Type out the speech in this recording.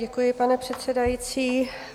Děkuji, pane předsedající.